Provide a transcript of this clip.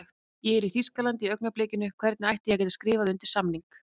Ég er í Þýskalandi í augnablikinu, hvernig ætti ég að geta skrifað undir samning?